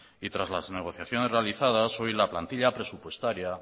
y tras las negociaciones realizadas hoy la plantilla presupuestaria